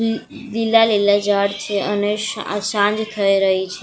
લ લીલા લીલા જાળ છે અને શઆ સાંજ થઈ રહી છે.